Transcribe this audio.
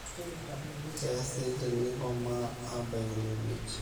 keesi teneikomaa abaiki ine wueji